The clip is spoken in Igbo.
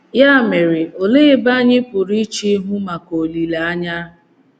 Ya mere, olee ebe anyị pụrụ iche ihu maka olileanya?